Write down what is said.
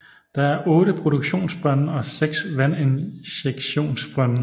Der er 8 produktionsbrønde og 6 vandinjektionsbrønde